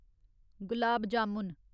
gulab jamun